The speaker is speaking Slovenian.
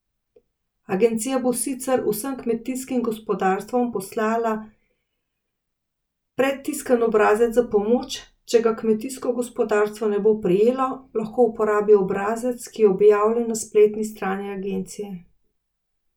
Agencija bo sicer vsem kmetijskim gospodarstvom poslala predtiskan obrazec za pomoč, če ga kmetijsko gospodarstvo ne bo prejelo, lahko uporabi obrazec, ki je objavljen na spletni strani agencije.